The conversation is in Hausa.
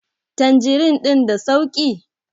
tanjirin din da sauki?